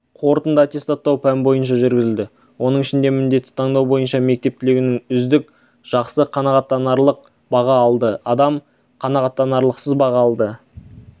қорытынды аттестаттау пән бойынша жүргізілді оның ішінде міндетті таңдау бойынша мектеп түлегінің үздік жақсы қанағаттанарлық баға алды адам қанағаттанарлықсыз баға алды